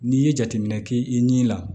N'i ye jateminɛ kɛ i ni la